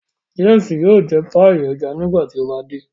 James yóò jẹ paii ẹja nígbàtí o ba dé.